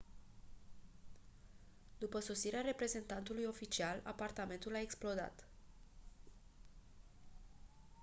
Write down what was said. după sosirea reprezentantului oficial apartamentul a explodat